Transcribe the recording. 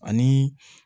Ani